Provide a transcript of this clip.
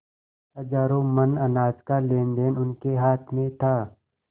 हजारों मन अनाज का लेनदेन उनके हाथ में था